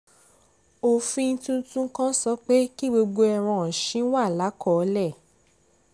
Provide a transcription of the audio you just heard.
òfin tuntun kan sọ pé kí gbogbo ẹran ọ̀sìn wà lákọọ́lẹ̀